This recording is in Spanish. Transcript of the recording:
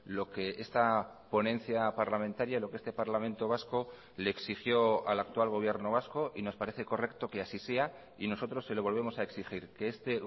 lo que esta ponencia parlamentaria lo que este parlamento vasco le exigió al actual gobierno vasco y nos parece correcto que así sea y nosotros se lo volvemos a exigir que este